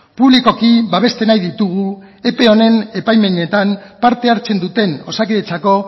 publikoki babestu nahi ditugu ope honen epaimahaietan parte hartzen duten osakidetzako